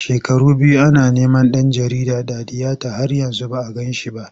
Shekaru biyu ana neman ɗan jarida Dadiyata har yanzu ba a gan shi ba.